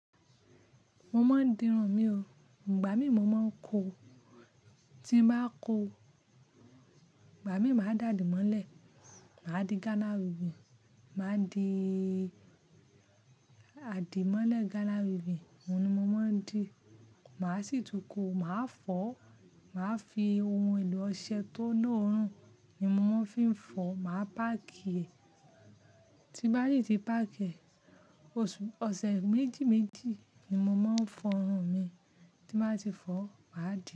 Mo máa ń dirun mi o. Ìgbà mí mo máa ń ko, tí ń báa ko, ìgbà mí màá dà dì mọ́lẹ̀. Màá di Ghana weaving, màá di àdìmọ́lẹ̀ Ghana weaving, òun ni mo máa ń dì. Màá sì túko, màá fọ̀, màá fi ohun èlò ọṣẹ tó loorún ni mo máa ń fi ń fọ. Màá páàkì rẹ̀, tí báyìí tí páàkì ẹ̀, oṣù-- ọ̀sẹ̀ méjì méjì ni mo máa ń fọrun mi. Tí màá ti fọ, màá dì.